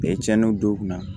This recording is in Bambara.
cɛnniw don u kunna